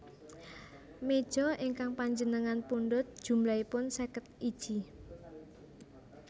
Mejo ingkang panjenengan pundhut jumlahipun seket iji